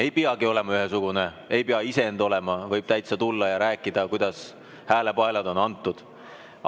Ei peagi olema ühesugune, ei pea isend olema, võib täitsa tulla ja rääkida, kuidas häälepaelad on antud.